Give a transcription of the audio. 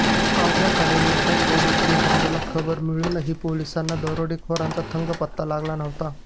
अवघ्या काही मिनिटांत पोलिस यंत्रणेला खबर मिळूनही पोलिसांना दरोडेखोरांचा थांगपत्ता लागला नव्हता